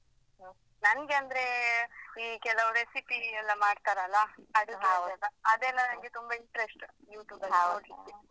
ನನ್ಗೆ ಅಂದ್ರೆ ನಂಗೆ ಅಂದ್ರೇ ಈ ಕೆಲವು recipe ಎಲ್ಲ ಮಾಡ್ತಾರಲ್ಲ ಅಡುಗೆಡೆಲ್ಲಾ? ಅದೆಲ್ಲ ನನ್ಗೆ ತುಂಬ interest YouTube ಅಲ್ಲಿ ನೋಡ್ಲಿಕ್ಕೆ.